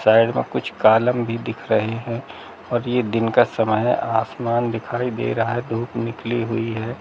Side मे कुछ column भी दिख रहे है और ये दिन का समय है आसमान दिखाई दे रहा है धूप निकली हुई है।